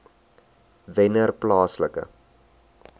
wennerplaaslike